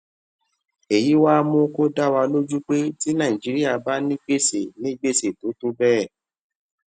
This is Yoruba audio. èyí wá mú kó dá wa lójú pé tí nàìjíríà bá ní gbèsè ní gbèsè tó tó béè